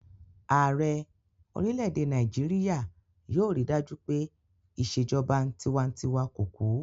Ààrẹ orílẹ̀-èdè Nàìjíríyà yóò rí dájú pé ìṣèjọba tinwatinwa kò kú